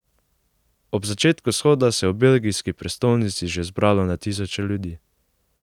Ob začetku shoda se je v belgijski prestolnici že zbralo na tisoče ljudi.